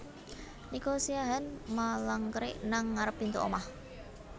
Nico Siahaan malangkerik nang ngarep pintu omah